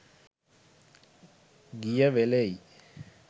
ගිය වෙලෙයි.